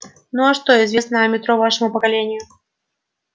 ну а что известно о метро вашему поколению